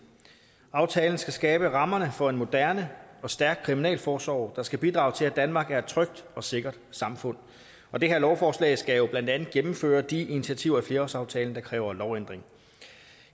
aftalen skal skabe rammerne for en moderne og stærk kriminalforsorg der skal bidrage til at danmark er et trygt og sikkert samfund og det her lovforslag skal jo blandt andet gennemføre de initiativer af flerårsaftalen der kræver lovændring